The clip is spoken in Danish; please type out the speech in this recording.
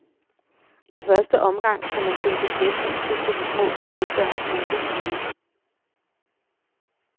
I første omgang skal man finde beskæftigelse til de små skolebørn i en hel uge.